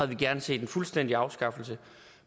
vi gerne set en fuldstændig afskaffelse